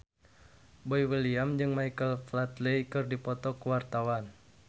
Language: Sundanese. Boy William jeung Michael Flatley keur dipoto ku wartawan